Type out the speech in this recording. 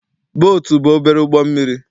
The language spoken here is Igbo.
Bootu bụ obere ụgbọ mmiri.